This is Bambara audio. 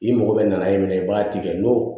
I mago bɛ na i ma i b'a tigɛ n'o